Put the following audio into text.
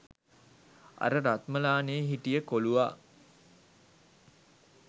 අර රත්මලානෙ හිටිය කොලුවා